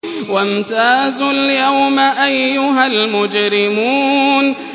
وَامْتَازُوا الْيَوْمَ أَيُّهَا الْمُجْرِمُونَ